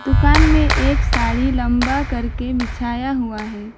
दुकान में एक साड़ी लंबा करके बिछाया हुआ है।